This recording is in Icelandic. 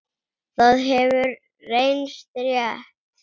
Það hefur reynst rétt.